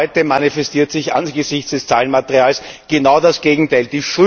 Heute manifestiert sich angesichts des Zahlenmaterials genau das Gegenteil.